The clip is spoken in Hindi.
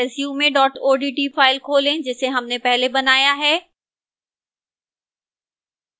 resume odt file खोलें जिसे हमने पहले बनाया है